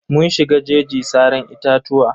Mun shiga jeji saran itatuwa.